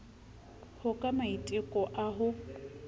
ho ka maiteko a ho